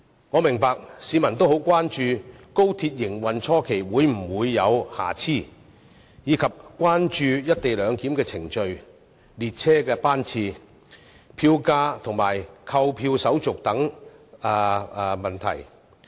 我明白市民很關注高鐵在營運初期會否有瑕疵，亦關注"一地兩檢"的程序、列車班次、票價、購票手續等問題。